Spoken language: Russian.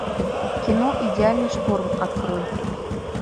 кино идеальный шторм открой